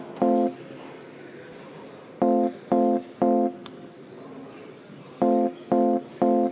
Head päeva!